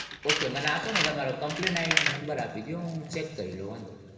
Okay મને આપો ને તમારો compainI'Dnumber આપી દયો હું check કરી લઉં વાંધો નઈ.